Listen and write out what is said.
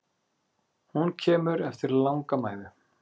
Hún kemur eftir langa mæðu.